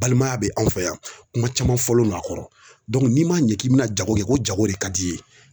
Balimaya be anw fɛ yan, kuma caman fɔlen don a kɔrɔ. n'i ma ɲɛ k'i be na jago kɛ ko jago de ka d'i ye